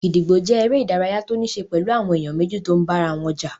Gídígbò jẹ́ eré ìdárayá tó níí ṣe pẹ̀lú àwọn èèyàn méjì tó n bára wọn jà